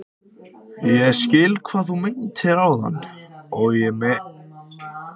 Ég skil hvað þú meintir áðan með að þú finndir eitthvað á þér.